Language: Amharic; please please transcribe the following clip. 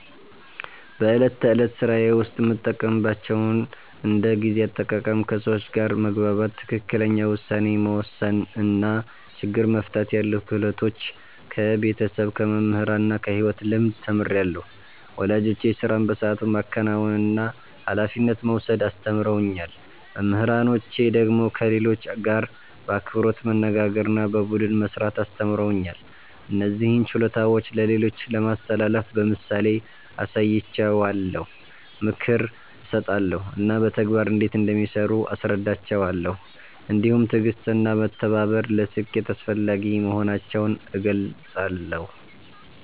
በዕለት ተዕለት ሥራዬ ውስጥ የምጠቀምባቸውን እንደ ጊዜ አጠቃቀም፣ ከሰዎች ጋር መግባባት፣ ትክክለኛ ውሳኔ መወሰን እና ችግር መፍታት ያሉ ክህሎቶች ከቤተሰብ፣ ከመምህራን እና ከሕይወት ልምድ ተምሬአለሁ። ወላጆቼ ሥራን በሰዓቱ ማከናወንና ኃላፊነት መውሰድ አስተምረውኛል። መምህራኖቼ ደግሞ ከሌሎች ጋር በአክብሮት መነጋገርና በቡድን መሥራት አስተምረውኛል። እነዚህን ችሎታዎች ለሌሎች ለማስተላለፍ በምሳሌ አሳያቸዋለሁ፣ ምክር እሰጣለሁ እና በተግባር እንዴት እንደሚሠሩ አስረዳቸዋለሁ። እንዲሁም ትዕግሥትና መተባበር ለስኬት አስፈላጊ መሆናቸውን እገልጻለሁ።